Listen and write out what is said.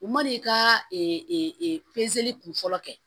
U man'i ka kunfɔlɔ kɛ